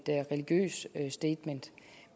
religiøst statement